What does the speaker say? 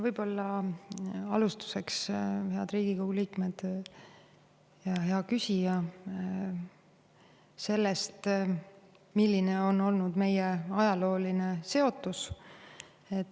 Võib-olla alustuseks, head Riigikogu liikmed ja hea küsija, sellest, milline on olnud meie ajalooline seotus.